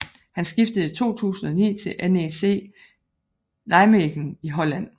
Han skiftede i 2009 til NEC Nijmegen i Holland